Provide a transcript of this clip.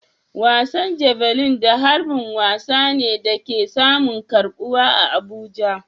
Wasan Javelin da harbin wasa ne da ke samun karbuwa a Abuja.